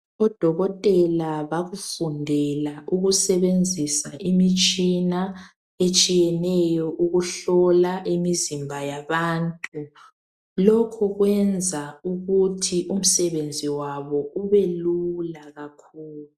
Odokotela bakufundela ukusebenzisa imitshina ehlukeneyo ukuhlola imizimba yabantu, lokhu kwenza ukuthi umsebenzi wabo ubelula kakhulu.